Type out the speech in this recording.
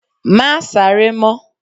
Má sáré mọ́